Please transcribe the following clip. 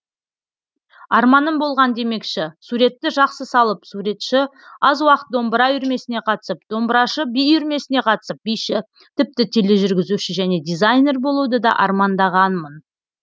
арманым болған демекші суретті жақсы салып суретші аз уақыт домбыра үйірмесіне қатысып домбырашы би үйірмесіне қатысып биші тіпті тележүргізуші және дизайнер болуды да армандағанмын